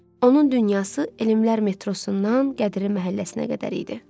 Onun dünyası Elmlər metrosundan Qədiri məhəlləsinə qədər idi.